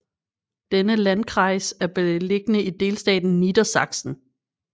Denne landkreis er beliggende i delstaten Niedersachsen